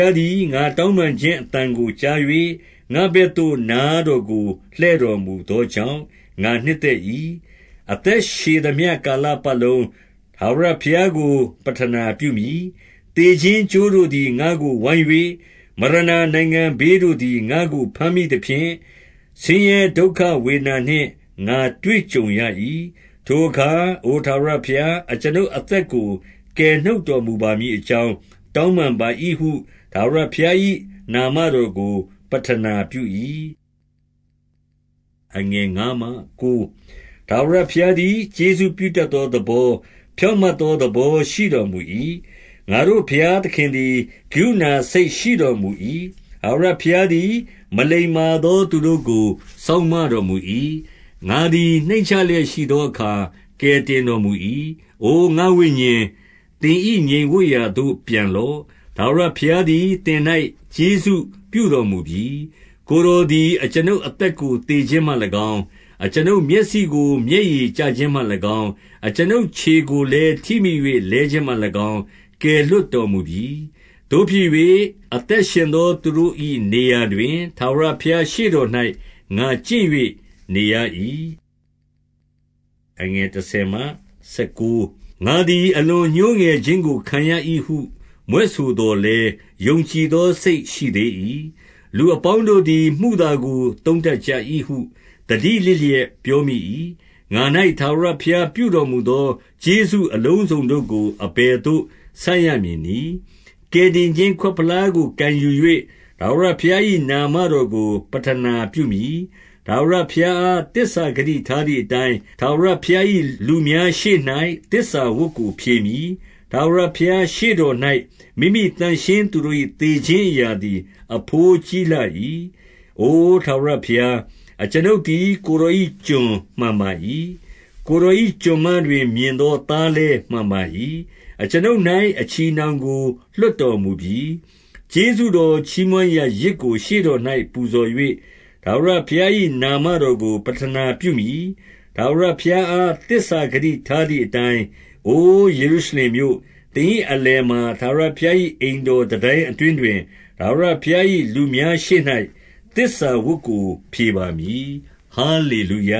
ားသည် ငါတောင်းပန်ခြင်း အသံကို ကြား၍၊ 2 ငါ့ဘက်သို့ နားတော်ကိုလှည့်တော်မူသော ကြောင့်၊ ငါနှစ်သက်၏။ ငါအသက်ရှည်သမျှ ကာလပတ် လုံး၊ ထာဝရဘုရားကို ပဌနာပြုမည်။ 3 သေခြင်းကြိုးတို့သည် ငါ့ကိုဝိုင်း၍ မရဏနိုင်ငံ ဘေးတို့သည် ငါ့ကို ဘမ်းမိသဖြင့်၊ ဆင်းရဲဒုက္ခဝေဒနာနှင့် ငါတွေ့ကြုံရ၏။ 4 ထိုအခါ အိုထာဝရဘုရား၊ အကျွန်ုပ်အသက်ကို ကယ်နှုတ်တော်မူပါမည်အကြောင်း တောင်းပန်ပါ၏ဟု ထာဝရဘုရား၏နာမတော်ကို ပဌနာပြု၏။ 5 ထာဝရဘုရားသည် ကျေးဇူးပြုတတ်သော သဘော၊ ဖြောင့်မတ်သော သဘောရှိတော်မူ၏။ ငါတို့ ဘုရားသခင်သည် ကရုဏာစိတ်ရှိတော်မူ ၏။ 6 ထာဝရဘုရားသည် မလိမ္မာသော သူတို့ကို စောင့်မတော်မူ၏။ ငါသည် နှိမ့်ချလျက်ရှိသောအခါ ကယ်တင်တော်မူ၏။ 7 အိုငါ့ဝိညာဉ်၊ သင်၏ငြိမ်ဝပ်ရာသို့ ပြန်လော့။ ထာဝရ ဘုရားသည် သင်၌ကျေးဇူးပြုတော်မူပြီ။ 8 ကိုယ်တော်သည် အကျွန်ုပ်အသက်ကို သေခြင်း မှ၎င်း၊ အကျွန်ုပ်မျက်စိကို မျက်ရည်ကျခြင်းမှ၎င်း၊ အကျွန်ုပ်ခြေကိုလည်း ထိမိ၍လဲခြင်းမှ၎င်း ကယ်လွှတ်တော်မူပြီ။ 9 သို့ဖြစ်၍၊ အသက်ရှင်သောသူတို့၏ နေရာတွင်၊ ထာဝရဘုရားရှေ့တော်၌ ငါကျင့်၍ နေရ၏။ 10 ငါသည် အလွန်ညှိုးငယ်ခြင်းကို ခံရ၏ဟု မြွက်ဆိုသော်လည်း၊ ယုံကြည်သော စိတ်ရှိသေး၏။ 11 လူအပေါင်းတို့သည် မုသာကို သုံးတတ်ကြ၏ဟု သတိလစ်လျက် ပြောမိ၏။ 12 ငါ၌ ထာဝရဘုရားပြုတော်မူသော ကျေးဇူး အလုံးစုံတို့ကို အဘယ်သို့ ဆပ်ရမည်နည်း။ 13 ကယ်တင်ခြင်းခွက်ဖလားကို ကိုင်ယူ၍၊ ထာဝရ ဘုရား၏ နာမတော်ကို ပဌနာပြုမည်။ 14 ထာဝရဘုရားအား သစ္စာဂတိထားသည် အတိုင်း၊ ထာဝရဘုရား၏ လူများရှေ့၌ သစ္စာဝတ်ကို ဖြေမည်။ 15 ထာဝရဘုရားရှေ့တော်၌ မိမိသန့်ရှင်းသူတို့၏ သေခြင်းအရာသည် အဘိုးကြီးလှ၏။ 16 အို ထာဝရဘုရား၊ အကျွန်ုပ်သည် ကိုယ်တော်၏ ကျွန်မှန်ပါ၏။ ကိုယ်တော်၏ ကျွန်မတွင် မြင်သောသား လည်း မှန်ပါ၏။ အကျွန်ုပ်၌ အချည်အနှောင်ကို လွှတ်တော်မူပြီ။ 17 ကျေးဇူးတော်ချီးမွမ်းရာ ယဇ်ကို ရှေ့တော်၌ ပူဇော်၍၊ ထာဝရဘုရား၏ နာမတော်ကို ပဌနာပြုမည်။ 18 ထာဝရဘုရားအား သစ္စာဂတိထားသည် အတိုင်း၊ 19 အိုယေရုရှလင်မြို့၊ သင်၏အလယ်မှာ ထာဝရ ဘုရား၏ အိမ်တော်တန်တိုင်းအတွင်းတွင်၊ ထာဝရဘုရား ၏ လူများရှေ့၌သစ္စာဝတ်ကို ဖြေပါမည်။ ဟာလေလုယ